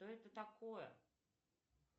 что это такое